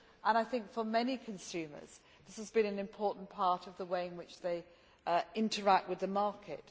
I think for many consumers this has been an important part of the way in which they interact with the market.